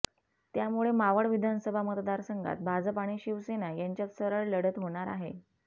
त्यामुळे मावळ विधानसभा मतदारसंघात भाजप आणि शिवसेना यांच्यात सरळ लढत होणार आहे